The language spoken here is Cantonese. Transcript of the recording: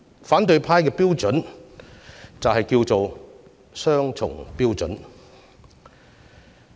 反對派的標準，就是雙重標準。